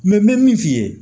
n bɛ min f'i ye